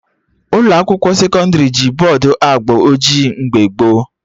Ụlọ akwụkwọ sekọndrị ji bọdụ agba ojii mgbe gboo